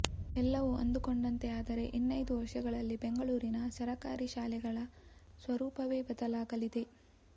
ಎಲ್ಲವೂ ಅಂದುಕೊಂಡಂತೆ ಆದರೆ ಇನ್ನೈದು ವರ್ಷಗಳಲ್ಲಿ ಬೆಂಗಳೂರಿನ ಸರಕಾರಿ ಶಾಲೆಗಳ ಸ್ವರೂಪವೇ ಬದಲಾಗಲಿದೆ